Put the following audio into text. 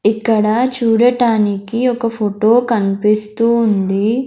ఇక్కడ చూడటానికి ఒక ఫొటో కన్పిస్తూ ఉంది.